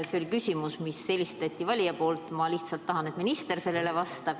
See oli küsimus, mille esitas valija, mina lihtsalt tahan, et minister sellele vastaks.